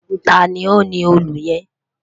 Tani o ni òòlù yẹn?